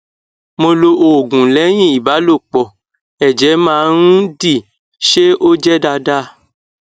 mo lo oogunlẹyìn ìbálòpọ ẹjẹ máa ń di ṣé ó je daada